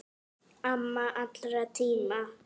Amma allra tíma.